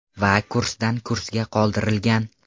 Va kursdan kursga qoldirilgan.